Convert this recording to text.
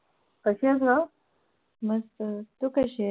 कशी आहेस ग मस्त आहे तू कशी आहे